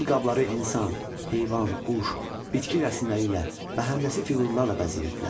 Gil qabları insan, heyvan, quş, bitki rəsmləri ilə, məhəndəsi fiqurlarla bəzəyirdilər.